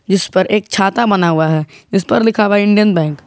इस पर एक छाता बना हुआ है इस पर लिखा हुआ इंडियन बैंक ।